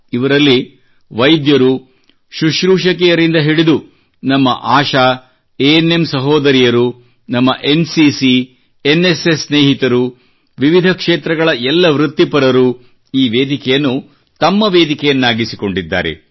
ಇವರಲ್ಲಿ ವೈದ್ಯರು ಶುಶ್ರೂಷಕಿಯರಿಂದ ಹಿಡಿದು ನಮ್ಮ ಆಶಾ ಎಎನ್ಎಂ ಸಹೋದರಿಯರು ನಮ್ಮ ಎನ್ಸಿಸಿ ಎನ್ಎಸ್ಎಸ್ ಸ್ನೇಹಿತರು ವಿವಿಧ ಕ್ಷೇತ್ರಗಳ ಎಲ್ಲ ವೃತ್ತಿಪರರು ಈ ವೇದಿಕೆಯನ್ನು ತಮ್ಮ ವೇದಿಕೆಯನ್ನಾಗಿಸಿಕೊಂಡಿದ್ದಾರೆ